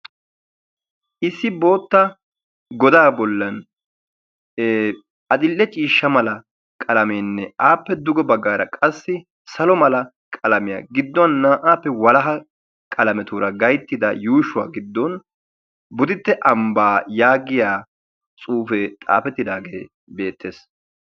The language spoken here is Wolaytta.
Issi bootta godaa bollan adil"e ciishsha mala qalameenne appe duge baggaara qassi salo mala qalamiyaa gidduwaan naa"appe walaha qalametuura gayttida yuushshuwaa giddon boditte ambbaa yaagiyaa xuufee tsaafettidaagee beettees.